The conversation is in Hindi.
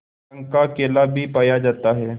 रंग का केला भी पाया जाता है